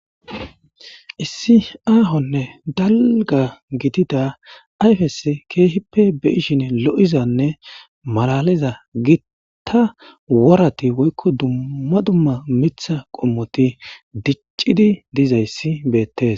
Issi ahonne dalga gidida ayfes kehipe be'ishin lo'izanne malaliza gita worati woyko duma duma Mitha qomoti dic'idi dizaysi betes.